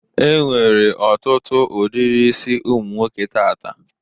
Enwere ọtụtụ udiri isi ụmụnwoke taata.